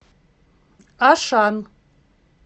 ашан